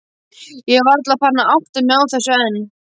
Ég er varla farin að átta mig á þessu enn.